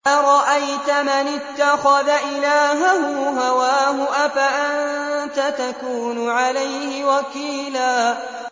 أَرَأَيْتَ مَنِ اتَّخَذَ إِلَٰهَهُ هَوَاهُ أَفَأَنتَ تَكُونُ عَلَيْهِ وَكِيلًا